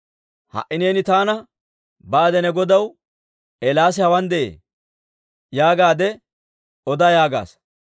Ha"i neeni taana, Baade ne godaw, ‹Eelaasi hawaan de'ee› yaagaadde oda yaagaasa.